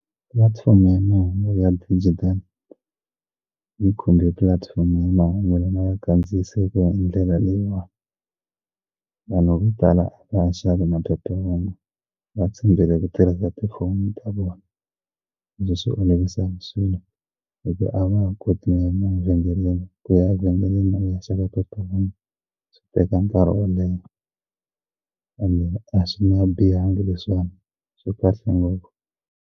Pulatifomo ya mahungu ya xidijitali yi khumbe pulatifomo ya mahungu lawa ya kandziyisiweke hi ndlela leyiwani vanhu vo tala a va ha xavi na va tshembele ku tirhisa tifoni ta vona a ndzi swi olovisa swilo hi ku a vaha koti na kuya emavhengeleni kuya evhengeleni va ya xava phephahungu swi teka nkarhi wo leha ende a swi nga bihanga leswiwani swi kahle ngopfu.